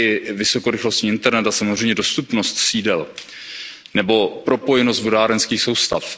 i vysokorychlostní internet a samozřejmě i dostupnost sídel nebo propojenost vodárenských soustav.